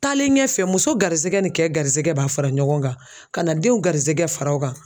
Taalen ɲɛfɛ muso garisɛgɛ ni kɛ garisigɛ b'a fara ɲɔgɔn kan ka na denw garijɛgɛ fara o kan